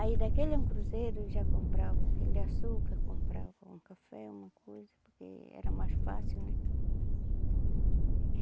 Aí daquele um cruzeiro já compravam aquele açúcar, compravam um café, uma coisa, porque era mais fácil, né?